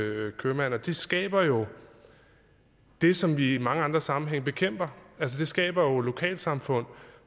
købmand og det skaber jo det som vi i mange andre sammenhænge bekæmper det skaber jo lokalsamfund